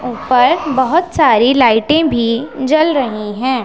ऊपर बहुत सारी लाइटें भी जल रही हैं।